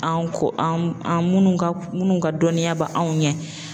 An kɔ an an minnu ka minnu ka dɔnniya bɛ anw ɲɛ.